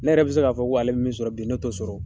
Ne yɛrɛ bi se k'a fɔ ko ale bɛ min sɔrɔ bi ne t'o sɔrɔ.